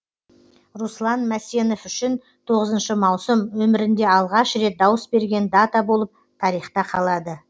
руслан мәсенов үшін тоғыз маусым өмірінде алғаш рет дауыс берген дата болып тарихта қалады